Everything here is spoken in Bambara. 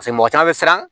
mɔgɔ caman mi siran